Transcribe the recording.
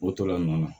O to la nɔ na